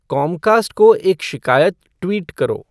Comcast को एक शिकायत ट्वीट करो